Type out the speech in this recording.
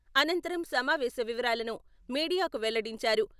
అనంతరం సమావేశ వివరాలను మీడియాకు వెల్లడించారు.